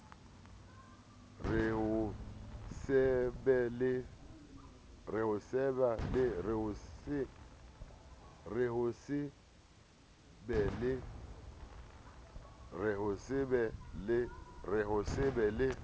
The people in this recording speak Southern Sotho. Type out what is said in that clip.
re ho se be le